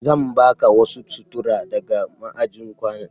Zan baka wasu sutura daga ma'ajin kayana.